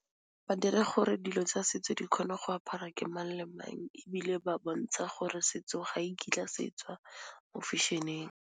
Ba dira gore dilo tsa setso di kgone go apara ke mang le mang ebile ba bontsha gore setso ga e kitla se tswa mo fashion-eng.